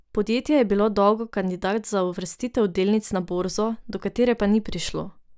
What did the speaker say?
Podjetje je bilo dolgo kandidat za uvrstitev delnic na borzo, do katere pa ni prišlo.